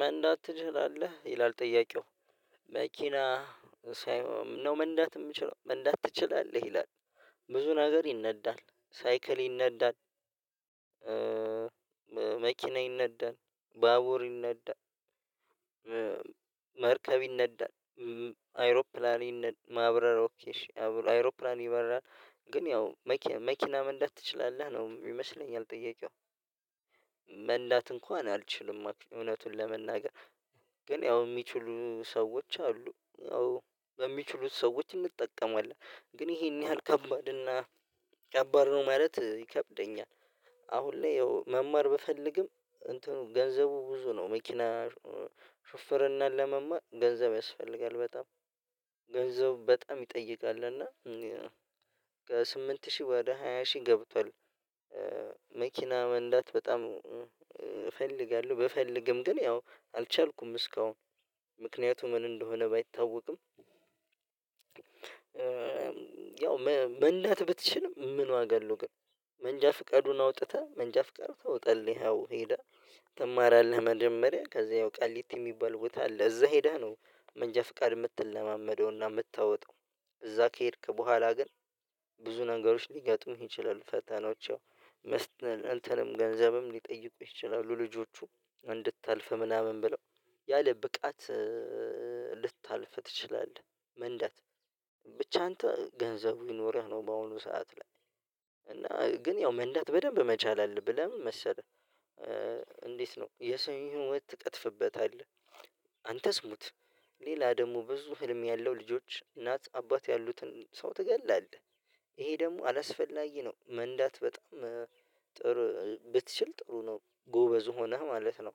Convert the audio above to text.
መንዳት ትችላለህ ይላል ጥያቄው መኪና ሳይሆን ነው መንዳት የምችለው መንዳት ትችላለህ ይላል? ብዙ ነገር ይነዳል ሳይክል ይነዳል መኪና ይነዳል ባቡር ይነዳል። መርከብ ይነዳል አይሮፕላን ይነዳል። ማብረር ኦኬ አይሮፕላን ይበራል ግን ያው መኪና መኪና መንዳት ትችላለህ ነው ይመስለኛል። ጥያቄው መንዳት እንኳን አልችልም እውነቱን ለመናገር ግን ያው የሚችሉ ሰዎች አሉ ያው በሚችሉት ሰዎች እንጠቀማለን ግን ይሄን ያህል ከባድ እና ከባድ ነው ማለት ይከብደኛል። አሁን ላይ ያው መማር ብፈልግም እንትኑ ገንዘቡ ብዙ ነው መኪና ሹፍርናን ለመማር ገንዘብ ያስፈልጋል በጣም ገንዘቡ በጣም ይጠይቃል እና ከስምንት ሺህ ወደ ሃያ ሺህ ገብቷል። መኪና መንዳት በጣም እፈልጋለሁ ብፈልግም ግን ያው አልቻልኩም እስካሁን ምክንያቱ ምን እንደሆነ ባይታወቅም። ያው መንዳት ብትችልም ምን ዋጋ አለው ግን መንጃ ፍቀዱን አውጥተህ መንጃ ፍቃድ ታውጣለህ ይኸው ሄዳ ትማራለህ መጀመሪያ ከዛ ያው ቀሊት የሚባል ቦታ አለ እዛ ሄዳ ነው። መንጃ ፍቃድ የምትለማመደውና የምታወጣው እዛ ከሄድክ በኋላ ግን ብዙ ነገሮች ሊገጡም ይችላሉ ፈተናዎች። እንትንም ገንዘብም ሊጠይቁ ይችላሉ ልጆቹ እንድታልፍ ምናምን ብለው ያለ ብቃት ልታልፍ ትችላለህ መንዳት። አንተ ገንዘቡ ይኖርህ ነው በአሁኑ ሰዓት ላይ እና ግን ያው መንዳት በደንብ መቻል አለብህ ለምን መሰለህ? እንዴት ነው የሰውን ህይወት ትቀጥፍበታለህ አንተ ስሙት ሌላ ደግሞ ብዙ ህልም ያለው ልጆች እናት አባት ያሉትን ሰው ትገላለህ። ይሄ ደግሞ አላስፈላጊ ነው መንዳት በጣም ጥሩ ብትችል ጥሩ ነው ጎበዝ ሆነህ ማለት ነው።